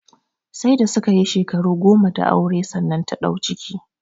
Sai da su ka yi shekaru goma da aure sannan ta ɗau ciki